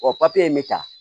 O in bɛ ta